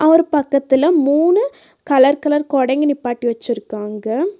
ஒரு பக்கத்துல மூணு கலர் கலர் கொடைங்க நிப்பாட்டி வச்சுருக்காங்க.